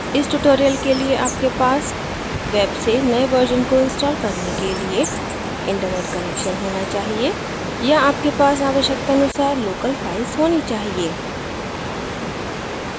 इस tutorial के लिए आपके पास वेब से नए वर्जन को इंस्टॉल करने के लिए इंटरनेट कनेक्शन होना चाहिए या आपके पास आवश्यकतानुसार लोकल फाइल्स होनी चाहिए